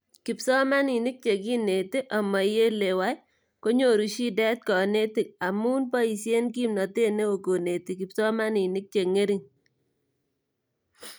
kipsomaninik chekineti amaielewai kinyoru shidet kanetik amu paisiee kimnatet neoo koneti kipsomaninik chengering